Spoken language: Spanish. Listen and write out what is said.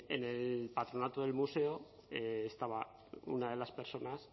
en el patronato del museo estaba una de las personas